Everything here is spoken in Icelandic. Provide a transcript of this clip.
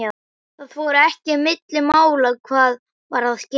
Það fór ekki milli mála hvað var að gerast.